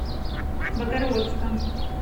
богородском